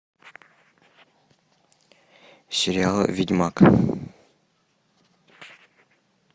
сериал ведьмак